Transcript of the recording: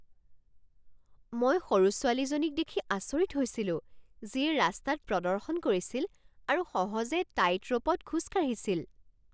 মই সৰু ছোৱালীজনীক দেখি আচৰিত হৈছিলো যিয়ে ৰাস্তাত প্ৰদৰ্শন কৰিছিল আৰু সহজে টাইটৰ'পত খোজ কাঢ়িছিল।